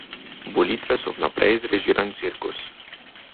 Volitve so vnaprej zrežiran cirkus.